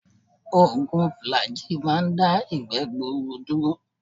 Ògùn Fùlàgíì máa ń dá ìgbẹ́ gbuuru dúró.